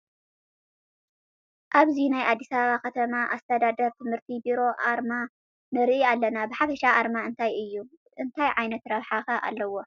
ኣብዚ ናይ ኣዲስ ኣባባ ከተማ ኣስተዳደር ትምህርቲ ቤሮ ኣርማ ንርኢ ኣለና፡፡ ብሓፈሻ ኣርማ እንታይ እዬ? እንታይ ዓይነት ረብሓታት ከ ኣለዉዎ?